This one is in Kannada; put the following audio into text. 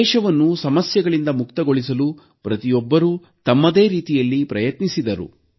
ದೇಶವನ್ನು ಸಮಸ್ಯೆಗಳಿಂದ ಮುಕ್ತಗೊಳಿಸಲು ಪ್ರತಿಯೊಬ್ಬರೂ ತಮ್ಮದೇ ರೀತಿಯಲ್ಲಿ ಪ್ರಯತ್ನಿಸಿದರು